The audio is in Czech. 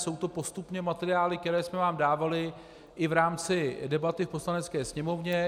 Jsou to postupně materiály, které jsme vám dávali i v rámci debaty v Poslanecké sněmovně.